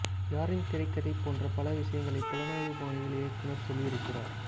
யாரின் திரைக்கதை போன்ற பல விஷயங்களை புலனாய்வு பாணியில் இயக்குனர் சொல்லியிருக்கிறார்